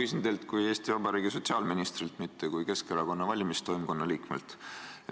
Ma küsin teilt kui Eesti Vabariigi sotsiaalministrilt, mitte kui Keskerakonna valimistoimkonna liikmelt.